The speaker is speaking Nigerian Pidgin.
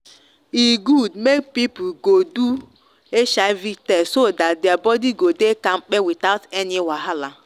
e good make people go do hiv test so that their body go dey kampe without any wahala.